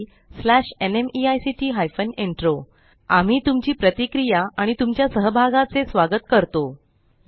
spoken tutorialorgnmeict intro आम्ही तुमची प्रतिक्रिया आणि तुमच्या सहभागाचे स्वागत करतो